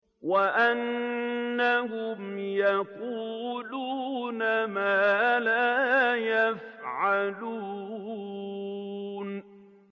وَأَنَّهُمْ يَقُولُونَ مَا لَا يَفْعَلُونَ